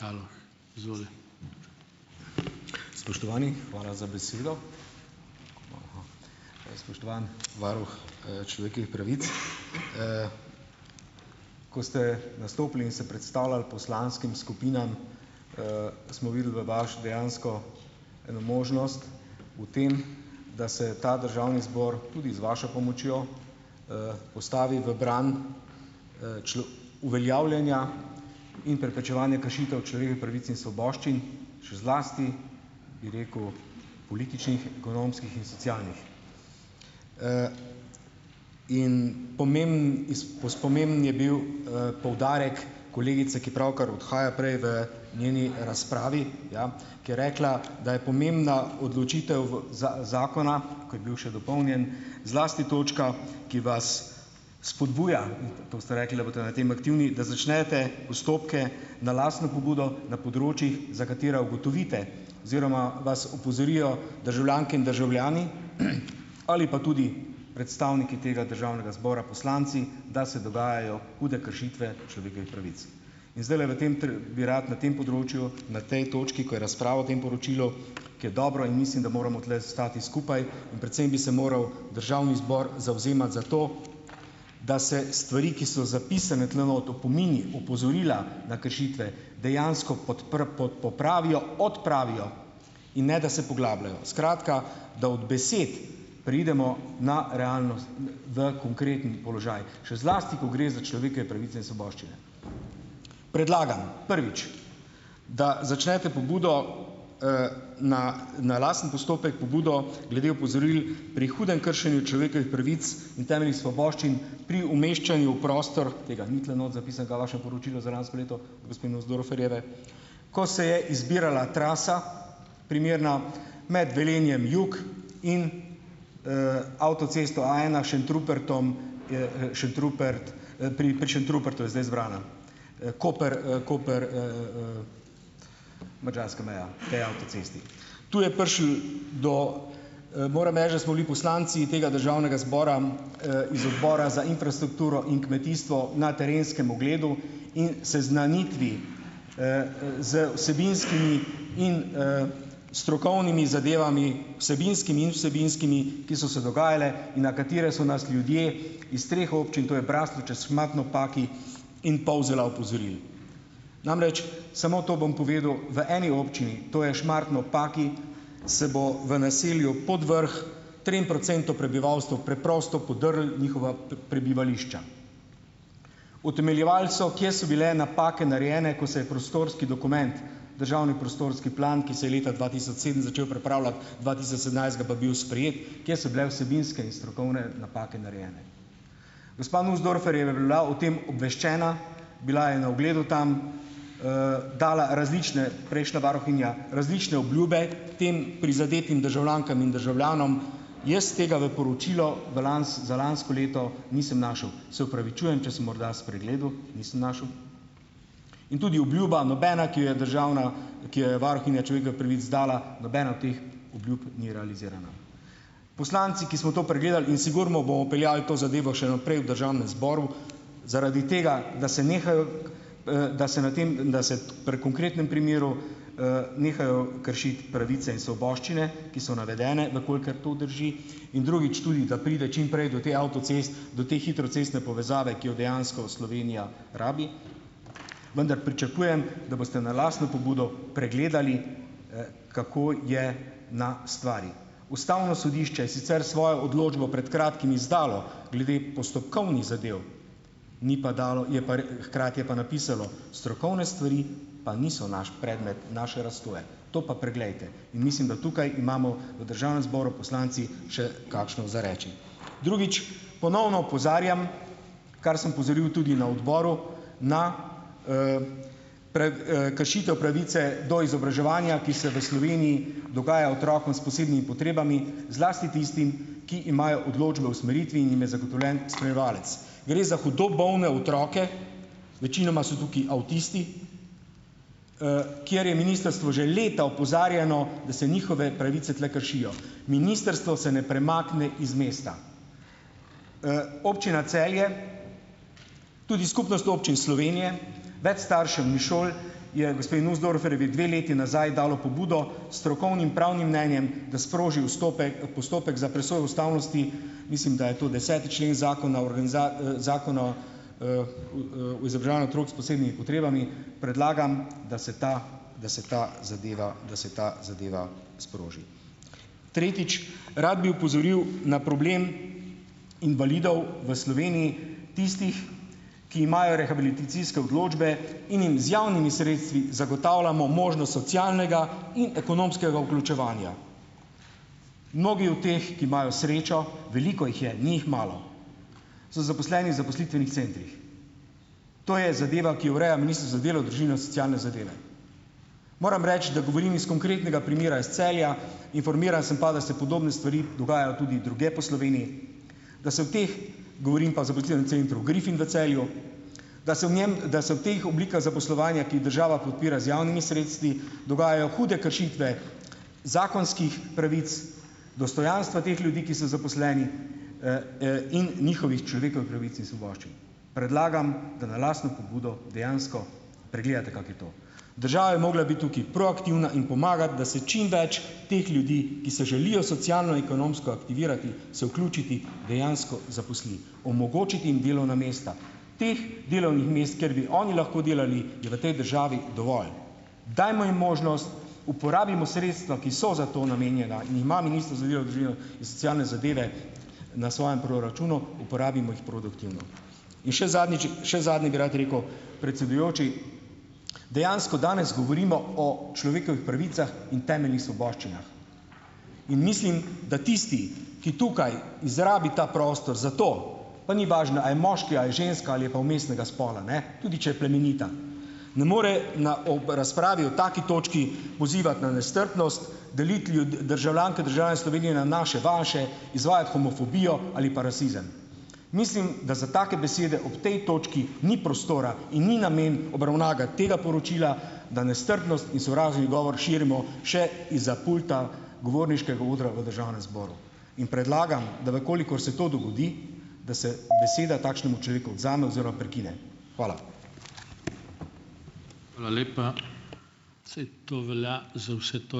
Spoštovani, hvala za besedo! Spoštovani varuh, človekovih pravic, !! Ko ste nastopili in se predstavljali poslanskim skupinam, smo videli v vaš dejansko eno možnost v tem, da se ta državni zbor tudi z vašo pomočjo, postavi v bran, uveljavljanja in preprečevanja kršitev človekovih pravic in svoboščin, še zlasti, bi rekel, političnih, ekonomskih in socialnih. In pomemben pomemben je bil, poudarek kolegice, ki pravkar odhaja, prej v njeni razpravi , ja, ker je rekla, da je pomembna odločitev v zakona, ko je bil še dopolnjen, zlasti točka, ki vas spodbuja, to ste rekli, da boste na tem aktivni, da začnete postopke na lastno pobudo na področjih, za katera ugotovite oziroma vas opozorijo državljanke in državljani, ali pa tudi predstavniki tega državnega zbora, poslanci, da se dogajajo hude kršitve človekovih pravic. In zdajle v tem bi rad na tem področju na tej točki, ko je razpravo o tem poročilu, ki je dobro, in mislim, da moramo tule stati skupaj in predvsem bi se moral državni zbor zavzemati za to, da se stvari, ki so zapisane tule not opomini, opozorila na kršitve dejansko popravijo, odpravijo, in ne da se poglabljajo. Skratka, da od besed preidemo na v konkretni položaj, še zlasti ko gre za človekove pravice in svoboščine. Predlagam, prvič, da začnete pobudo, na, na lasten postopek pobudo glede opozoril pri hudem kršenju človekovih pravic in temeljnih svoboščin pri umeščanju v prostor, tega ni tule not zapisanega v vašem poročilu za lansko leto gospe Nussdorferjeve, ko se je izbirala trasa primerna med Velenjem jug in, avtocesto A ena Šentrupertom, Šentrupert, pri, pri Šentrupertu je zdaj zbrana, Koper, Koper, madžarska meja potem avtocesti .. Tu je prišlo do ... Moram reči, da smo bili poslanci tega državnega zbora, iz odbora za infrastrukturo in kmetijstvo na terenskem ogledu in seznanitvi, z vsebinskimi in, strokovnimi zadevami, vsebinskimi in vsebinskimi, ki so se dogajale in na katere so nas ljudje iz treh občin, to je Braslovče, Šmartno ob Paki in Polzela, opozorili. Namreč, samo to bom povedal, v eni občini, to je Šmartno ob Paki, se bo v naselju Podvrh trem procentom prebivalstva preprosto podrlo njihova prebivališča. Utemeljevali so, kje so bile napake narejene, ko se je prostorski dokument, državni prostorski plan, ki se je leta dva tisoč sedem začel pripravljati, dva tisoč sedemnajstega pa bil sprejet, kje so bile vsebinske in strokovne napake narejene. Gospa Nussdorfer tem obveščena, bila je na ogledu tam. dala različne, prejšnja varuhinja, različne obljube tem prizadetim državljankam in državljanom. Jaz tega v poročilu v za lansko leto nisem našel. Se opravičujem, če sem morda spregledal, nisem našel. In tudi obljuba nobena, ki jo je državna, ki jo je varuhinja človekovih pravic dala, nobena od teh obljub ni realizirana. Poslanci, ki smo to pregledali in sigurno bomo peljali to zadevo še naprej v državnem zboru, zaradi tega, da se nehajo da se na tem, da se pri konkretnem primeru, nehajo kršiti pravice in svoboščine, ki so navedene, v kolikor to drži. In drugič tudi, da pride čim prej do te avtoceste, do te hitre cestne povezave, ki jo dejansko Slovenija rabi, vendar pričakujem, da boste na lastno pobudo pregledali, kako je na stvari. Ustavno sodišče je sicer svojo odločbo pred kratkim izdalo glede postopkovnih zadev, ni pa dalo, je pa hkrati je pa napisalo, strokovne stvari pa niso naš predmet naše, to pa preglejte. In mislim, da tukaj imamo v državnem zboru poslanci še kakšno za reči. Drugič. Ponovno opozarjam, kar sem opozoril tudi na odboru na, kršitev pravice do izobraževanja, ki se v Sloveniji dogaja otrokom s posebnimi potrebami, zlasti tistim, ki imajo odločbe o usmeritvi in jim je zagotovljen spremljevalec. Gre za hudo bolne otroke. Večinoma so tukaj avtisti, kjer je ministrstvo že leta opozarjano, da se njihove pravice tule kršijo. Ministrstvo se ne premakne iz mesta. občina Celje, tudi Skupnost občin Slovenije, več staršev in šol je gospe Nussdorferjevi dve leti nazaj dalo pobudo strokovnim, pravnim mnenjem, da sproži postopek za presojo ustavnosti, mislim, da je to deseti člen Zakona o Zakona o, otrok s posebnimi potrebami. Predlagam, da se ta, da se ta zadeva da se ta zadeva sproži. Tretjič. Rad bi opozoril na problem invalidov v Sloveniji, tistih, ki imajo rehabilitacijske odločbe in jim z javnimi sredstvi zagotavljamo možnost socialnega in ekonomskega vključevanja. Mnogi od teh, ki imajo srečo - veliko jih je, ni jih malo, so zaposleni zaposlitvenih centrih. To je zadeva, ki jo ureja za delo, družino, socialne zadeve. Moram reči, da govorim iz konkretnega primera iz Celja, informiran sem pa, da se podobne stvari dogajajo tudi drugje po Sloveniji, da se o teh govorim pa centru Griffin v Celju, da se v njem, da se v teh oblikah zaposlovanja, ki jih država podpira z javnimi sredstvi, dogajajo hude kršitve zakonskih pravic, dostojanstva teh ljudi, ki so zaposleni, in njihovih pravic in svoboščin. Predlagam, da na lastno pobudo dejansko pregledate, kako je to. Država je mogla biti tukaj proaktivna in pomagati, da se čim več teh ljudi, ki se želijo socialno, ekonomsko aktivirati, se vključiti, dejansko zaposli. Omogočiti jim delovna mesta. Teh delovnih mest, kjer bi oni lahko delali, je v tej državi dovolj. Dajmo jim možnost, uporabimo sredstva, ki so za to namenjena in jih ima socialne zadeve na svojem proračunu, uporabimo jih produktivno. In še zadnjič še zadnje bi rad rekel. Predsedujoči, dejansko danes govorimo o človekovih pravicah in temeljnih svoboščinah in mislim, da tisti, ki tukaj izrabi ta prostor za to, pa ni važno, a je moški a je ženska ali je pa vmesnega spola, ne, tudi če je plemenita, ne more na ob razpravi o taki točki pozivati na nestrpnost, deliti državljanke, državljane Slovenije na naše, vaše, izvajati homofobijo ali pa rasizem. Mislim, da za take besede ob tej točki ni prostora in ni namen obravnava tega poročila, da nestrpnost in sovražni govor širimo še izza pulta govorniškega odra v državnem zboru, in predlagam, da v kolikor se to dogodi, da se beseda takšnemu človeku odvzame oziroma prekine. Hvala.